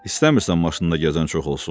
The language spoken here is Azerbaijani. İstəmirsən maşında gəzən çox olsun?